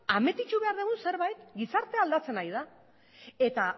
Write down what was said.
admititu behar dugun zerbait gizartea aldatzen ari da eta